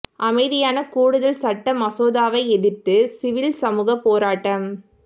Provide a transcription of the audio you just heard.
அமைதியான கூடுதல் சட்ட மசோதாவை எதிர்த்து சிவில் சமூகப் போராட்டம்